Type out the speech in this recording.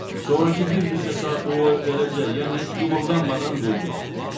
Sonrakı bir neçə saat o eləcə, yəni heç qımıldanmadan durdu.